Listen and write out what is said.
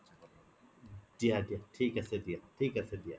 দিয়া দিয়া থিক আছে দিয়া থিক আছে দিয়া